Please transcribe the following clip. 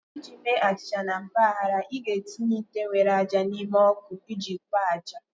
Iji mee achịcha na mpaghara, ị ga-etinye ite nwere ájá n'ime ọkụ iji kpoo ájá